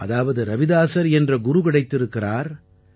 அதாவது ரவிதாஸர் என்ற குரு கிடைத்திருக்கிறார்